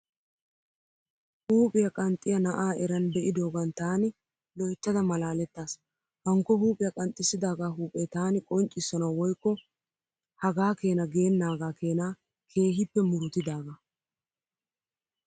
Huuphiyaa qanxxiyaa na'aa eran be'idoogan taani loyttada malaaletaas. Hankko Huuphiyaa qanxxissidaagaa huuphee taani qonccissanawu woykko hagaa Keena gennaagaa Keena keehiippe murutidaagaa.